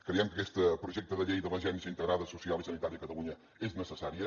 creiem que aquest projecte de llei de l’agència integrada social i sanitària a catalunya és necessària